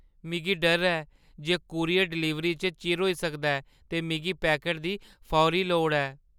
मिगी डर ऐ जे कूरियर डलीवरी च चिर होई सकदा ऐ, ते मिगी पैकट दी फौरी लोड़ ऐ।